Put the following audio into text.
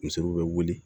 Musow bɛ wuli